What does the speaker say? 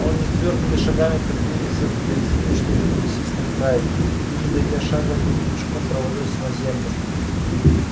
он нетвёрдыми шагами приблизился к дрезине чтобы присесть на край но не дойдя шага вдруг мешком провалился на землю